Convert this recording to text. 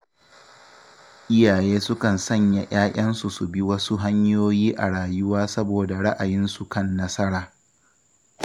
Iyaye sukan sanya ‘ya’yansu su bi wasu hanyoyi a rayuwa saboda ra’ayinsu kan nasara.